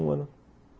Um ano.